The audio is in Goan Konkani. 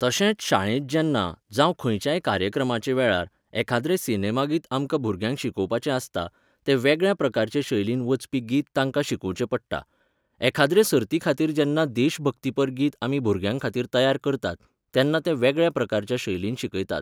तशेंच शाळेंत जेन्ना, जावं खंयच्याय कार्यक्रमाचे वेळार, एखाद्रें सिनेमा गीत आमकां भुरग्यांक शिकोवपाचें आसता, तें वेगळ्या प्रकाराचें शैलींत वचपी गीत तांकां शिकोवचें पडटा. एखाद्रे सर्तीखातीर जेन्ना देशभक्तीपर गीत आमी भुरग्यांखातीर तयार करतात, तेन्ना तें वेगळ्या प्रकाराच्या शैलीन शिकयतात.